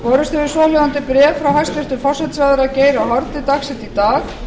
borist hefur svohljóðandi bréf frá hæstvirtum forsætisráðherra geir h haarde dagsett í dag